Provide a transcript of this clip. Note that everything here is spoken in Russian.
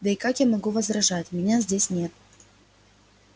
да и как я могу возражать меня здесь нет